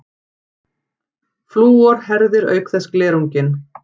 Flúor herðir auk þess glerunginn.